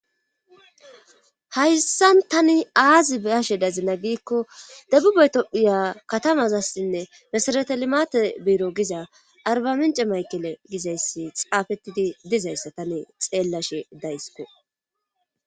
hayssan tani aazi be'ashe dazina giikko debubatophuya katamazassinne misaretelimate biiro giza arbamince maykele gizayssi xaafettidi dizayssa tani xeellashe daysko